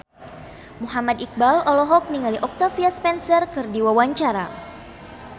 Muhammad Iqbal olohok ningali Octavia Spencer keur diwawancara